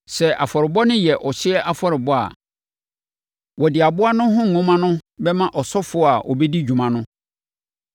Sɛ afɔrebɔ no yɛ ɔhyeɛ afɔrebɔ a, wɔde aboa no ho nhoma no bɛma ɔsɔfoɔ a ɔbɛdi dwuma no.